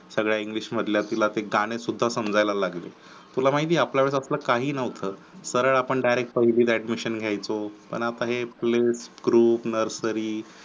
सगळ्या इंग्लिश मधल्या तिला ते गाणे सुद्धा समजायला लागले तुला माहिती आपल्याला काही नव्हतं सरळ आपण direct पहिली ला admission घ्यायचो पण आता हे आपले ग्रुप नर्सरी